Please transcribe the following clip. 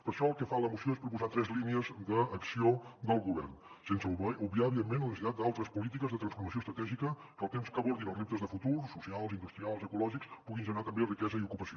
per això el que fa la moció és proposar tres línies d’acció del govern sense obviar evidentment la necessitat d’altres polítiques de transformació estratègica que alhora que abordin els reptes de futur socials industrials ecològics puguin generar també riquesa i ocupació